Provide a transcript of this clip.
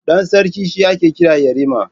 Ɗan sarki shi ake kira yarima.